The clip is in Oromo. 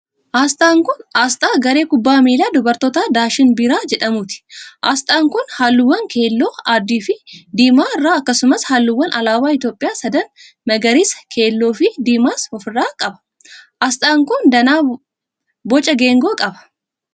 Asxaan kun, asxaa garee kubbaa miilaa dubartootaa Daashin Biiraa jedhamuuti. Asxaan kun, haalluuwwan keelloo, adii fi diimaa irraa akkasumas haalluuwwan alaabaa Itoophiyaa sadan magariisa ,keelloo fi diimaas of irraa qaba. Asxaan kun, danaa boca geengoo qaba.